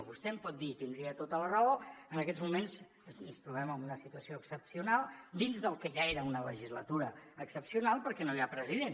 vostè em pot dir tindria tota la raó que en aquests moments ens trobem en una situació excepcional dins del que ja era una legislatura excepcional perquè no hi ha president